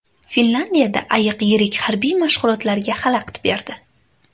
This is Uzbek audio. Finlyandiyada ayiq yirik harbiy mashg‘ulotlarga xalaqit berdi.